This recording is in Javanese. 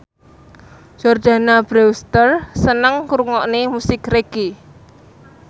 Jordana Brewster seneng ngrungokne musik reggae